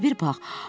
İşə bir bax.